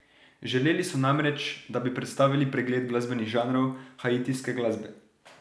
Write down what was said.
Želeli so namreč, da bi predstavili pregled glasbenih žanrov haitijske glasbe.